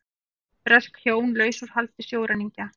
Bresk hjón laus úr haldi sjóræningja